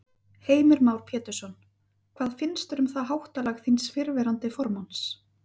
Heimir Már Pétursson: Hvað finnst þér um það háttalag þíns fyrrverandi formanns?